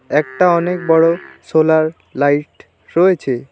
একটা অনেক বড় সোলার লাইট রয়েছে।